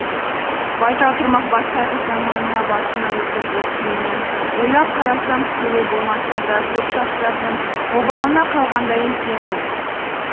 байтал тұрмақ бас қайғы заманына басымнан өткізіп кейіннен ойлап қарасам тікелей болмаса да көп жастардың обалына қалғандай екенмін